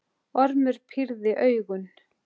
Ormur pírði augun.